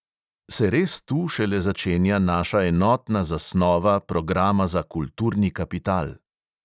Se res tu šele začenja naša enotna zasnova programa za kulturni kapital?